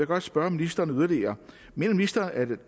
godt spørge ministeren yderligere mener ministeren at